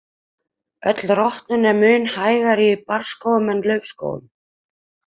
Öll rotnun er mun hægar í barrskógum en í laufskógum.